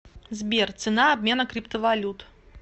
сбер цена обмена криптовалют